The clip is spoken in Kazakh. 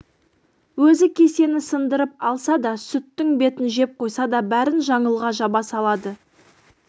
өзі кесені сындырып алса да сүттің бетін жеп қойса да бәрін жаңылға жаба салады